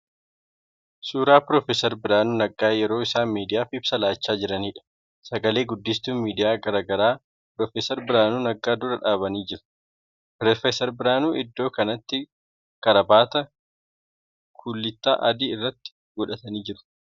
Suuraa Pr. Birhaanuu Naggaa yeroo isaan miidiyaaf ibsa laachaa jiraniidha. Sagalee guddistuun miidiyaa garaa garaa Pr. Birhaanuu dura dhaabamanii jiru. Pr. Birhaanuun iddoo kanatti karaabaataa kullittaa adii irratti godhatanii jiru.